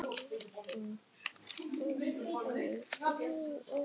Hann benti Stefáni á að fá sér á diskinn.